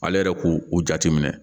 Ale yɛrɛ k'u jate minɛ